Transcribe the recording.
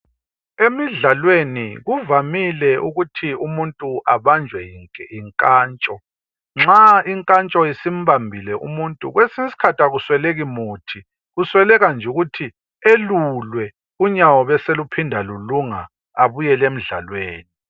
Emidlalweni kuvamile ukuthi umuntu abanjwe yinkantsho. Nxa inkantsho isimbambile umuntu kwesinye isikhathi akusweleki muthi, kusweleka nje ukuthi elulwe unyawo lube seluphinda